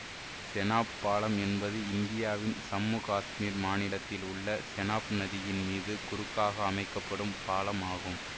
செனாப் பாலம் என்பது இந்தியாவின் சம்மு காசுமீர் மாநிலத்தில் உள்ள செனாப் நதியின் மீது குறுக்காக அமைக்க படும் பாலம் ஆகும்